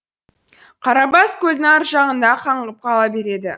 қарабас көлдің ар жағында қаңғып қала береді